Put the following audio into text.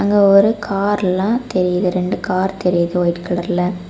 அ ஒரு கார்ல தெரியுது ரெண்டு கார் தெரியுது ஒயிட் கலர்ல .